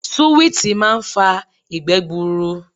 Suwiti máa ń fa ìgbẹ́ gbuuru.